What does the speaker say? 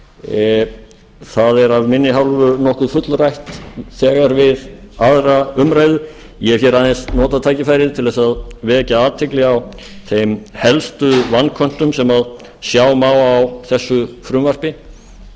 það er af minni hálfu nokkuð fullrætt þegar við aðra umræðu ég hef aðeins notað tækifærið til að vekja athygli á þeim helstu vanköntum sem sjá má á þessu frumvarpi